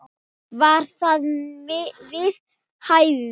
Var það við hæfi?